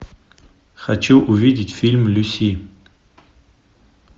хочу увидеть фильм люси